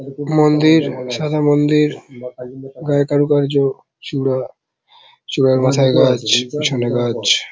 মন্দির সাদা মন্দির গায়ে কারুকার্য চূড়া চূড়ার মাথায় গাছ পিছনে গাছ ।